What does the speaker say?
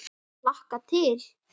Ég hlakka til.